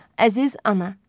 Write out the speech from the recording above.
Əziz ana.